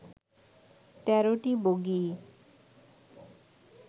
তেরোটি বগিই